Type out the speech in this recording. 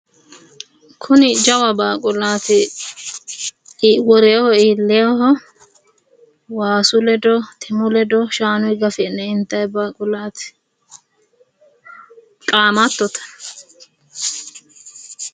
Kuni jawa baaqulaati worreho iilleho waasu ledo timu ledo shaanu gafi'ne intay baaqulaati, qaamattote.